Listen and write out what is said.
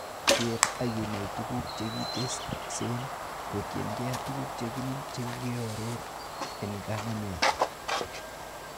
Keer ak inai tuguk chekiteksen kotienge tuguk chenin chekioror en kanamet.